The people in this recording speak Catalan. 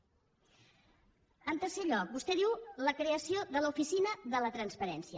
en tercer lloc vostè diu la creació de l’oficina de la transparència